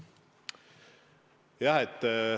Jah.